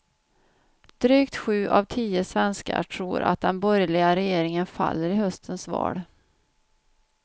Drygt sju av tio svenskar tror att den borgerliga regeringen faller i höstens val.